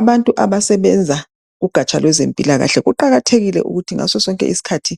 Abantu abasebenza ugatsha lwezempilakahle kuqakathekile ukuthi ngasosonke isikhathi